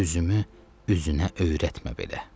Üzümü üzünə öyrətmə belə.